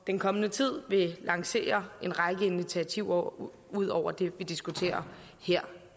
den kommende tid vil lancere en række initiativer ud ud over dem vi diskuterer her